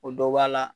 O dɔ b'a la